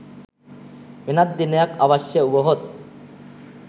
වෙනත් දිනයක් අවශ්‍ය වුවහොත්